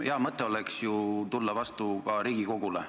Hea mõte oleks ju tulla vastu ka Riigikogule.